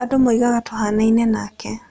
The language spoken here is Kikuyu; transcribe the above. Andũ moigaga tũhaanaine nake.